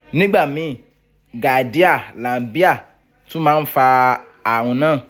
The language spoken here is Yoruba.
nígbà míì giardia lamblia tún máa ń fa ààrùn náà